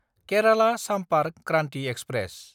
Kerala Sampark Kranti express